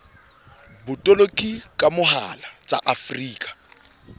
botoloki ka mohala tsa afrika